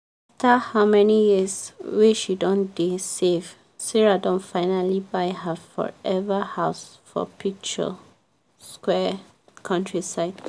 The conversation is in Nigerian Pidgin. after how many years wey she don dey save sarah don finally buy her forever house for picturesque countryside.